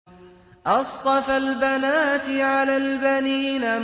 أَصْطَفَى الْبَنَاتِ عَلَى الْبَنِينَ